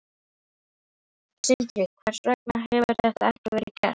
Sindri: Hvers vegna hefur þetta ekki verið gert?